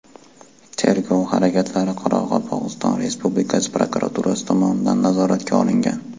Tergov harakatlari Qoraqalpog‘iston Respublikasi prokuraturasi tomonidan nazoratga olingan.